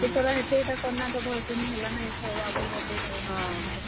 ସେଥର ହେତେ ଇଟା କଲାଁ ତ ଭଲ୍ ସେ ନି ହେଲା ନା ଇଥର ବାବୁ ର୍ birthday ଇଥର ଭଲ୍ ସେ କର୍ ମା।